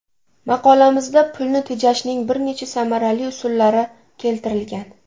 Maqolamizda pulni tejashning bir necha samarali usullari keltirilgan.